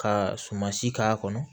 Ka sumansi k'a kɔnɔ